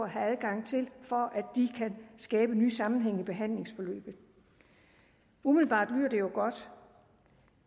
have adgang til for at de kan skabe nye sammenhænge i behandlingsforløbet umiddelbart lyder det jo godt